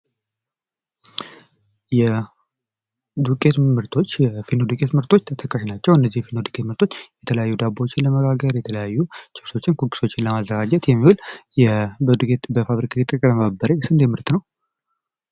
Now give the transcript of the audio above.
የዱቄት ምርቶች የፊኖች ዱቄት ምርቶች ተጠቃሽ ናቸው እነዚህ ዱቄት ምርቶች የተለያዩ ዳቦዎችን ዳቦችን ኪኪሶችን ለማምረት በፋብሪካ የተቀነባበረ ፋብሪካ ውስጥ የተቀነባበረ ምርት ነው።